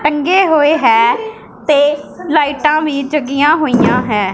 ਟਂਗੇ ਹੋਏ ਹੈ ਤੇ ਲਾਈਟਾਂ ਵੀ ਜੰਗੀਆਂ ਹੋਈਆਂ ਹੈ।